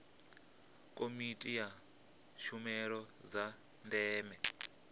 komiti ya tshumelo dza ndeme